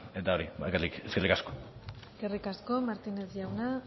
eta hori bakarrik eskerrik asko eskerrik asko martínez jauna